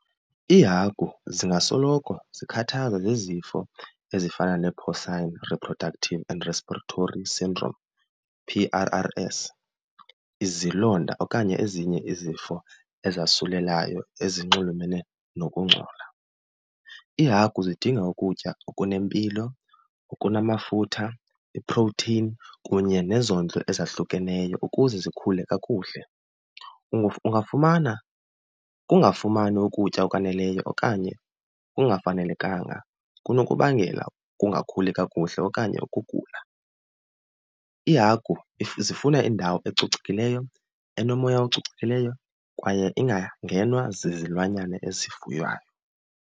Iihagu zingasoloko zikhathazwa zizifo ezifana neePorcine Reproductive and Respiratory Syndrome, P_R_R_S, izilonda okanye ezinye izifo ezasulelayo ezinxulumene nokungcola. Iihagu zidinga ukutya okunempilo, okunamafutha, iprotheyini kunye nezondlo ezahlukeneyo ukuze zikhule kakuhle. Ungafumana ukungafumani ukutya okwaneleyo okanye kungafanelekanga kunokubangela ungakhuli kakuhle okanye ukugula. Iihagu zifuna indawo ecocekileyo, enomoya ococekileyo kwaye ingangenwa zizilwanyana ezifuywayo.